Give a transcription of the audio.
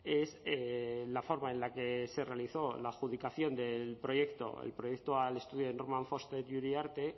es la forma en la que se realizó la adjudicación del proyecto al estudio de norman foster y uriarte